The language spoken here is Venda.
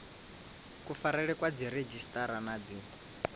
kufarelwe kwa dziredzhisiṱara na dzi